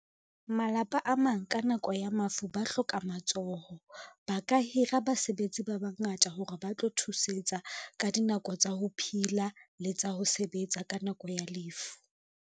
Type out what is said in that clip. Malapa a mang ka nako ya mafu ba hloka matsoho. Ba ka hira basebetsi ba bangata hore ba tlo thusetsa ka dinako tsa ho phila le tsa ho sebetsa ka nako ya lefu.